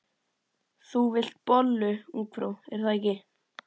Þú vilt bollu, ungfrú, er það ekki?